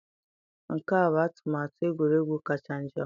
Nke a bụ atụmatụ egwuregwu kacha njọ.